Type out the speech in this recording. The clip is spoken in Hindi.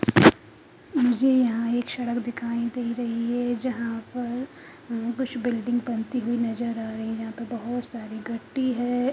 मुझे यहाँ ये एक सड़क दिखाई दे रही है जहां पर कुछ बिल्डिंग बनती हुई नज़र आ रही है यहाँ पर बहोत सारी गट्टी है।